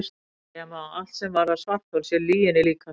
Segja má að allt sem varðar svarthol sé lyginni líkast.